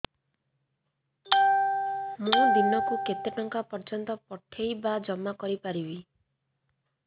ମୁ ଦିନକୁ କେତେ ଟଙ୍କା ପର୍ଯ୍ୟନ୍ତ ପଠେଇ ବା ଜମା କରି ପାରିବି